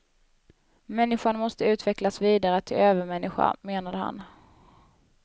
Människan måste utvecklas vidare till övermänniska, menade han.